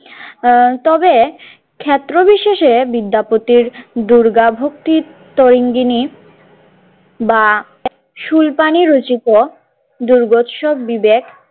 তবে ক্ষেত্র বিশেষে বিদ্যা পতির দুর্গাভক্তির তৈঙ্গিনি বা শূলপাণি রচিত দুর্গোৎসব বিবেক।